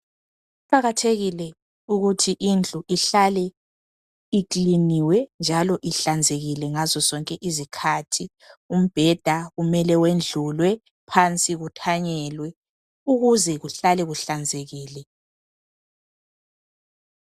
Kuqakathekile ukuthi indlu ihlale ikliniwe njalo ihlanzekile ngazo zonke izikhathi. Umbheda kumele wendlulwe, phansi kuthanyelwe. Ukuze kuhlale kuhlanzekile.